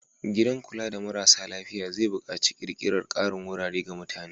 Gidan kula da marasa lafiya zai buƙaci ƙirƙirar ƙarin wurare ga mutane.